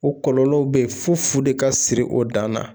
O kɔlɔlɔw bɛ ye fo fu de ka siri o dan na